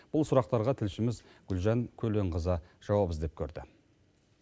бұл сұрақтарға тілшіміз гүлжан көленқызы жауап іздеп көрді